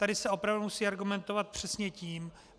Tady se opravdu musí argumentovat přesně tím...